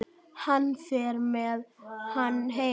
Hann fer með hana heim.